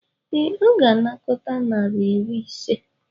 Ee, ọ ga-anakọta naira iri ise.